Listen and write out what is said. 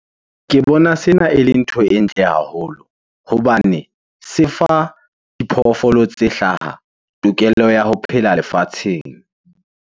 Ke bona sena ele ntho e ntle haholo hobane se fa diphoofolo tse hlaha tokelo ya ho phela lefatsheng.